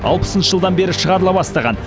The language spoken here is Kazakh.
алпысыншы жылдан бері шығарыла бастаған